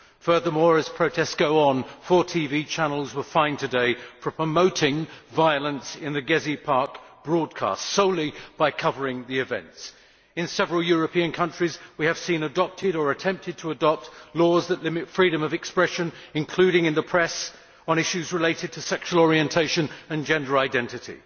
Furthermore, as protests go on, four TV channels were fined today for promoting violence in Gezi Park solely by covering the events. In several European countries, we have seen the adoption or attempted adoption of laws that limit freedom of expression, including in the press, on issues related to sexual orientation and gender identity.